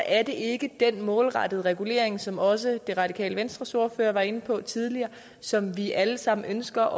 er det ikke den målrettede regulering som også det radikale venstres ordfører var inde på tidligere som vi alle sammen ønsker